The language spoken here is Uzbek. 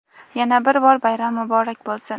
Yana bir bor bayram muborak bo‘lsin!.